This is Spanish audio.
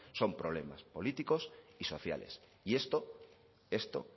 son problemas políticos y sociales y esto esto